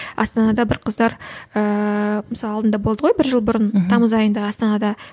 астанада бір қыздар ыыы мысалы алдында болды ғой бір жыл бұрын тамыз айында астанада